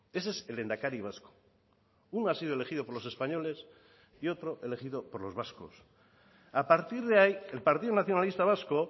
ese es el lehendakari vasco uno ha sido elegido por los españoles y otro elegido por los vascos a partir de ahí el partido nacionalista vasco